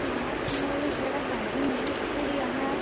यार यहाँ एक बड़ा गार्डन है और यहाँ --